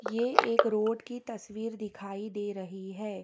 ये एक रोड की तस्वीर दिखाई दे रही है।